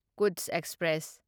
Kutch express